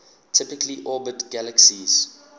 typically orbit galaxies